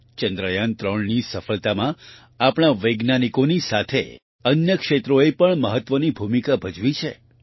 ચંદ્રયાન3ની સફળતામાં આપણા વૈજ્ઞાનિકોની સાથે અન્ય ક્ષેત્રોએ પણ મહત્વની ભૂમિકા ભજવી છે